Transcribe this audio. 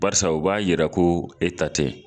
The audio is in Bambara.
Barisa o b'a yira ko e ta tɛ